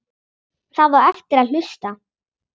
Það á eftir að hlusta.